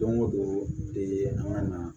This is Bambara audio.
Don o don de an ka na